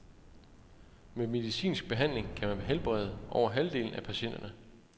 Med medicinsk behandling kan man helbrede over halvdelen af patienterne.